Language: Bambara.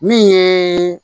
Min ye